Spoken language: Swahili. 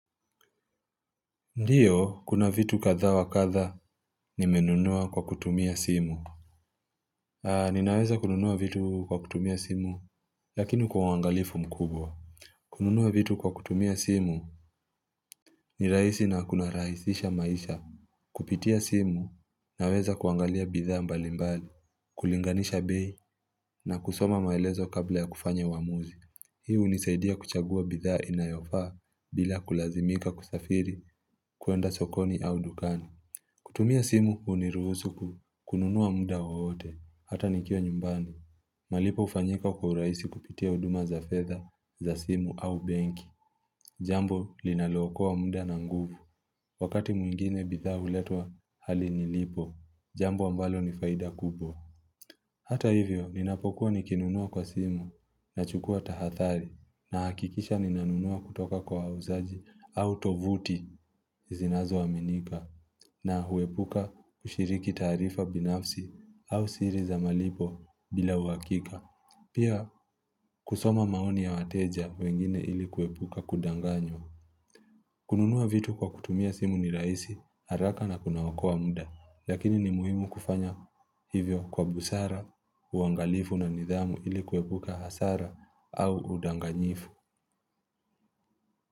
Ndiyo, kuna vitu katha wa katha nimenunua kwa kutumia simu Ninaweza kununua vitu kwa kutumia simu lakini kuangalifu mkubwa kununua vitu kwa kutumia simu ni rahisi na kuna rahisisha maisha Kupitia simu naweza kuangalia bidhaa mbali mbali, kulinganisha bei na kusoma maelezo kabla ya kufanya uamuzi. Hii hunisaidia kuchagua bidhaa inayofaa bila kulazimika kusafiri kuenda sokoni au dukani kutumia simu huniruhusu ku kununua muda wowote, hata nikiwa nyumbani. Malipo hufanyika kwa urahisi kupitia huduma za fedha, za simu au benki. Jambo linalo okoa wa muda na nguvu. Wakati mwingine bidhaa huletwa hali nilipo, jambo ambalo nifaida kubwa. Hata hivyo, ninapokuwa nikinunua kwa simu na chukua tahathari na hakikisha ninanunua kutoka kwa wauzaji au tovuti zinazo aminika na huepuka kushiriki taarifa binafsi au siri za malipo bila huwakika. Pia, kusoma maoni ya wateja wengine ili kuepuka kudanganywa. Kununua vitu kwa kutumia simu ni rahisi, haraka na kuna okoa muda, lakini ni muhimu kufanya hivyo kwa busara, uangalifu na nidhamu ilikuepuka hasara au udanganyifu.